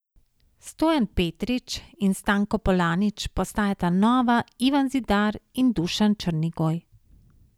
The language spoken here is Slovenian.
Stojan Petrič in Stanko Polanič postajata nova Ivan Zidar in Dušan Črnigoj.